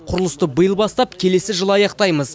құрылысты биыл бастап келесі жылы аяқтаймыз